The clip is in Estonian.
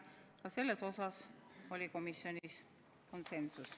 Ka selles osas oli komisjonis konsensus.